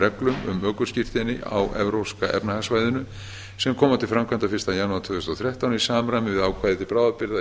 reglum um ökuskírteini á evrópska efnahagssvæðinu sem koma til framkvæmda fyrsta janúar tvö þúsund og þrettán í samræmi við ákvæði til bráðabirgða í